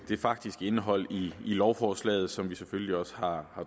det faktiske indhold af lovforslaget som vi selvfølgelig også har